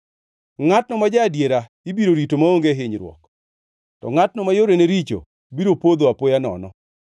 Ngʼatno ma ja-adiera ibiro rito maonge hinyruok, to ngʼatno ma yorene richo biro podho apoya nono.